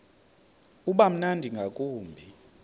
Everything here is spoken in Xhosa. uba mnandi ngakumbi